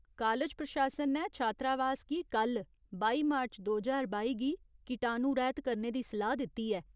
College प्रशासन ने छात्रावास गी कल बाई मार्च दो ज्हार बाई गी कीटाणुरैह्त करने दी सलाह् दित्ती ऐ।